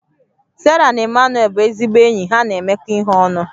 Sarah na Emmanuel bụ ezigbo enyi ha na-emekọ ihe ọnụ